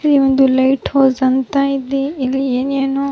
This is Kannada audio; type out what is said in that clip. ಇಲ್ಲಿ ಒಂದು ಲೈಟ್ ಹೌಸ್ ಅಂತ ಇದೆ ಇಲ್ಲಿ ಏನ್ ಏನೋ --